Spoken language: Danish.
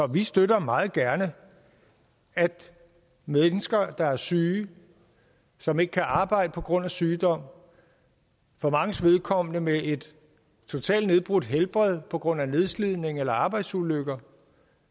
vi støtter meget gerne at mennesker der er syge og som ikke kan arbejde på grund af sygdom for manges vedkommende med et totalt nedbrudt helbred på grund af nedslidning eller arbejdsulykker